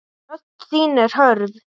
Rödd þín er hörð.